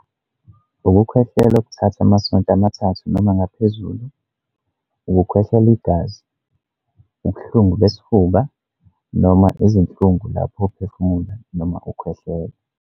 Ukukhwehlela okuthatha amasonto amathathu noma ngaphezulu. Ukukhwehlela igazi. Ubuhlungu besifuba, noma izinhlungu lapho uphefumula noma ukhwehlela.